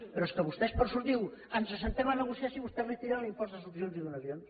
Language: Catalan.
però és que vostè diu ens asseiem a negociar si vostès retiren l’impost de successions i donacions